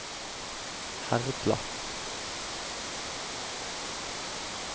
Herdla